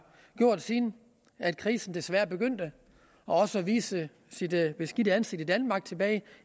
gjort siden krisen desværre begyndte og også viste sit beskidte ansigt i danmark tilbage